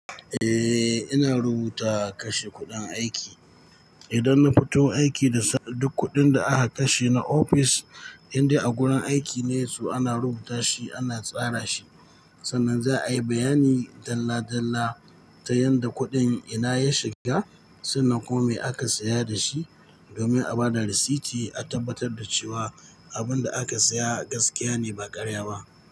Eh, ina rubuta kashe kuɗin aiki. Idan nafito aiki da duk kuɗin da'aka kashe na ofis, indai a gurin aikine so ana rubuta shi ana tsara shi. Sannan za'ayi bayani dalla dalla ta yadda kuɗin ina ya shiga, sannan kuma me aka saya dashi domin a bada risiti a tabbatar da cewa abinda aka saya gaskiyane ba ƙarya ba.